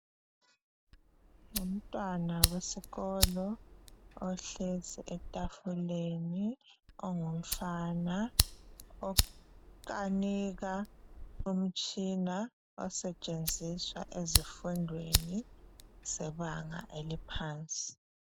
Ngumntwana wesikolo ohlezi etafuleni ongumfana okanika umtshina osetshenziswa ezifundweni zebanga eliphansi.